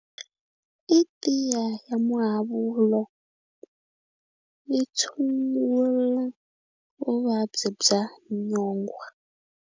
I tiya ya muhavulo yi tshungula vuvabyi bya nyongwha.